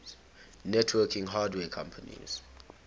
networking hardware companies